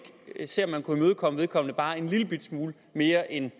se om man kunne imødekomme vedkommende bare en lillebitte smule mere end